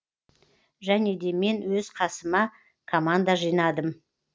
және де мен өз қасыма команда жинадым